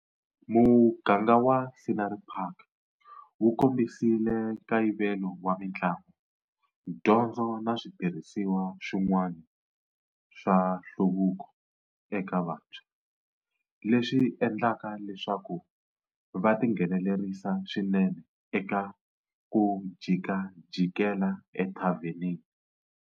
Muganga wa Scenery Park wu kombisile nkayivelo wa mitlangu, dyondzo na switirhisiwa swin'wani swa nhluvuko eka vantshwa, leswi endlaka leswaku va tinghenelerisa swinene eka 'ku jikajikela ethavenini'.